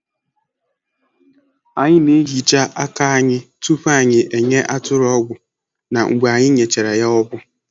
Anyị na-ehicha aka anyị tupu anyị enye atụrụ ọgwụ na mgbe anyị nyechara ya ọgwụ.